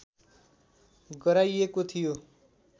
गराइएको थियो